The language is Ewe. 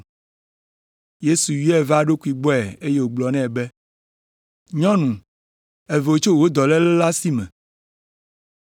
Yesu yɔe va eɖokui gbɔe eye wògblɔ nɛ be, “Nyɔnu, èvo tso wò dɔléle la si me!”